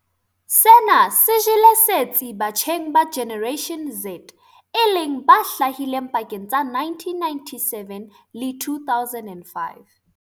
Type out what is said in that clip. Sena se jele setsi batjheng ba Generation Z e leng ba hlahileng pakeng tsa 1997 le 2005.